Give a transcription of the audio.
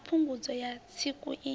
ya phungudzo ya tsiku i